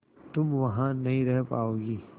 तुम वहां नहीं रह पाओगी